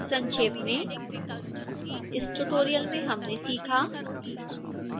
संक्षेप में इस ट्यूटोरियल में हमने सीखा